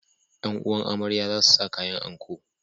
’Yan’uwan amarya za su sa kayan anko.